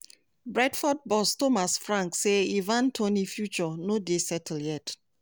brentford boss thomas frank say ivan toney future "no dey settled yet".